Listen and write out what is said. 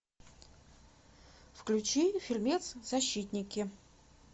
включи фильмец защитники